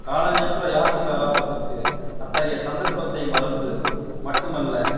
காலஞ்சென்ற யாசீர் அரபாத்திற்கு அத்தகைய சந்தர்ப்பத்தை மறுத்து மட்டுமல்ல